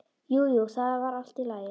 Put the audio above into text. Jú, jú, það var allt í lagi.